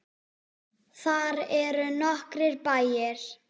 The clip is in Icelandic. Þar eru nokkrir bæir.